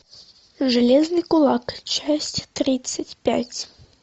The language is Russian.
железный кулак часть тридцать пять